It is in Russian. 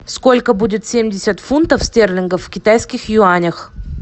сколько будет семьдесят фунтов стерлингов в китайских юанях